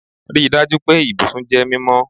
Rii daju pe ibusun jẹ mimọ